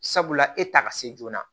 Sabula e ta ka se joona